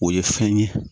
O ye fɛn ye